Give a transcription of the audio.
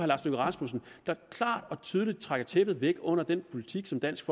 lars løkke rasmussen der klart og tydeligt trækker tæppet væk under den politik som dansk